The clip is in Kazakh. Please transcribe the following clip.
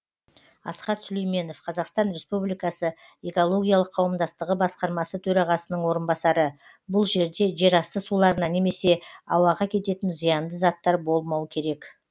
асхат сүлейменов қазақстан республикасы экологиялық қауымдастығы басқармасы төрағасының орынбасары бұл жерде жерасты суларына немесе ауаға кететін зиянды заттар болмау керек